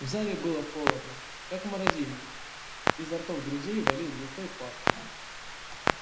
в зале было холодно как в морозильнике изо ртов друзей валил густой пар